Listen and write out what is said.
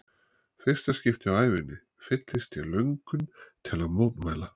fyrsta skipti á ævinni fyllist ég löngun til að mótmæla.